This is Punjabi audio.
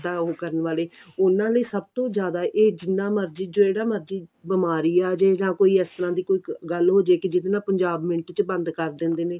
ਰੋਜ਼ ਦਾ ਉਹ ਕਰਨ ਵਾਲੇ ਉਹਨਾ ਲਈ ਸਭ ਤੋਂ ਜਿਆਦੇ ਇਹ ਜਿੰਨਾ ਮਰਜੀ ਜਿਹੜਾ ਮਰਜੀ ਬਿਮਾਰੀ ਆ ਜੇ ਜਾਂ ਕੋਈ ਇਸ ਤਰਾਂ ਦੀ ਕੋਈ ਗੱਲ ਹੋਜੇ ਕਿ ਜਿਹਦੇ ਨਾਲ ਪੰਜਾਬ ਮਿੰਟ ਚ ਬੰਦ ਕਰ ਦਿੰਦੇ ਨੇ